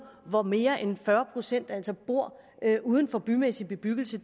hvor mere end fyrre procent altså bor uden for bymæssig bebyggelse